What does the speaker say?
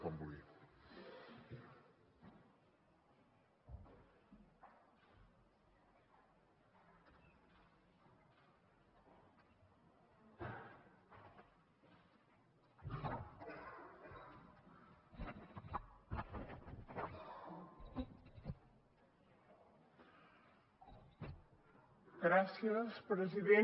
gràcies president